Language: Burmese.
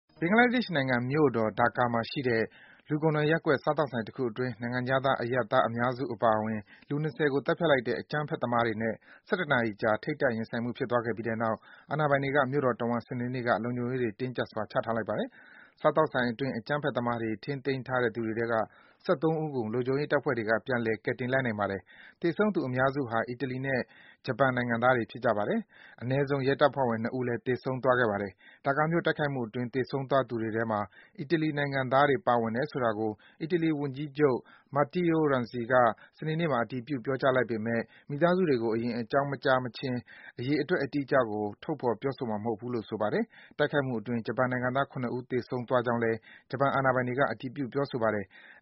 ဘင်္ဂလားဒေ့ရှ်နိုင်ငံမြို့တော် Dhaka မှာရှိတဲ့ လူကုံထံရပ်ကွက် စားသောက်ဆိုင်တခုအတွင်း နိုင်ငံခြားသား အရပ်သား အများစု အပါအဝင် လူ ၂၀ ကို သတ်ဖြတ်လိုက်တဲ့ အကြမ်းဖက်သမားတွေနဲ့ ၁၁ နာရီကြာ ထိပ်တိုက်ရင်ဆိုင်မှု ဖြစ်သွားခဲ့ပြီးနောက် အာဏာပိုင်တွေက မြို့တော်တဝှမ်း စနေနေ့က လုံခြုံရေးတွေ တင်းကြပ်စွာ ချထားလိုက်ပါတယ်။ စားသောက်ဆိုင်အတွင်း အကြမ်းဖက်သမားတွေ ထိန်းသိမ်းထားတဲ့ သူတွေထဲက ၁၃ ဦးကို လုံခြုံရေးတပ်ဖွဲ့က ပြန်လည် ကယ်တင်လိုက်နိုင်ပါတယ်။ သေဆုံးသူ အများစုဟာ အီတလီနဲ့ ဂျပန်နိုင်ငံသားတွေ ဖြစ်ကြပါတယ်။ အနည်းဆုံး ရဲတပ်ဖွဲ့ဝင် ၂ ဦးလည်း သေဆုံးသွားပါတယ်။ Dhaka မြို့ တိုက်ခိုက်မှုအတွင်း သေဆုံးသွားသူတွေထဲမှာ အီတလီနိုင်ငံသားတွေ ပါဝင်တယ်ဆိုတာကို အီတလီဝန်ကြီးချုပ် Matteo Renzi က စနေနေ့မှာ အတည်ပြု ပြောကြားလိုက်ပေမဲ့ မိသားစုတွေကို အရင် အကြောင်းမကြားမချင်း အရေအတွက် အတိအကျကို ထုတ်ဖော် ပြောဆိုမှာမဟုတ်ဘူးလို့ ဆိုပါတယ်။ တိုက်ခိုက်မှုအတွင်း ဂျပန်နိုင်ငံသား ၇ ဦး သေဆုံးသွားကြောင်း ဂျပန်အာဏာပိုင်တွေက အတည်ပြု ပြောဆိုပါတယ်။